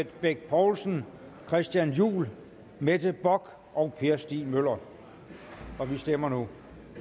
bech poulsen christian juhl mette bock og per stig møller og vi stemmer nu